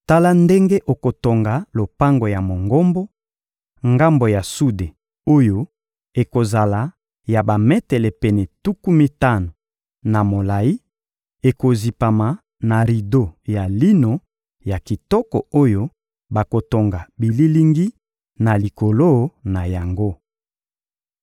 Tala ndenge okotonga lopango ya Mongombo: ngambo ya sude oyo ekozala ya bametele pene tuku mitano na molayi, ekozipama na rido ya lino ya kitoko oyo bakotonga bililingi na likolo na yango.